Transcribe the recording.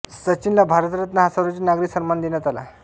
सचिनला भारतरत्न हा सर्वोच्च नागरी सन्मान देण्यात आला